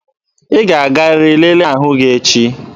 Ị ga-agarịrị lelee ahụ gị echi!